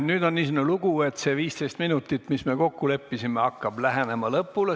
Nüüd on niisugune lugu, et see 15 minutit, mis me kokku leppisime, hakkab lähenema lõpule.